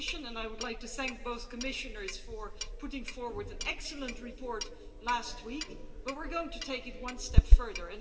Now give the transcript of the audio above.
I would like to thank both Commissioners for putting forward an excellent report last week, but we are going to take it one step further.